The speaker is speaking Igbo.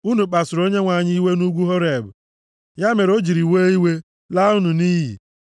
Unu kpasuru Onyenwe anyị iwe nʼugwu Horeb, ya mere o jiri were iwe laa unu nʼiyi.